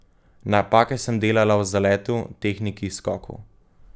Napake sem delala v zaletu, tehniki, skoku.